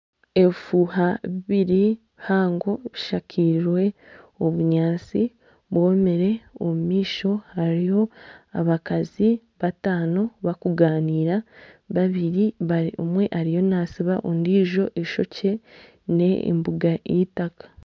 Ebifuuha bibiri bihango bushakiize obunyaatsi bwomire. Omumaisho hariho abakazi bataano bakuganiira. Omwe ariyo natsiba ondijo ishokye n'embuga y'itaka.